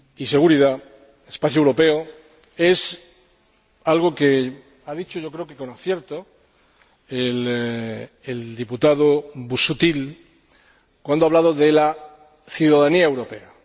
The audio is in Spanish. seguridad y justicia es algo que ha dicho —yo creo que con acierto— el diputado Busuttil cuando hablaba de la ciudadanía europea.